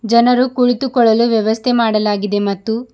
ಜನರು ಕುಳಿತುಕೊಳ್ಳಲು ವ್ಯವಸ್ಥೆ ಮಾಡಲಾಗಿದೆ ಮತ್ತು--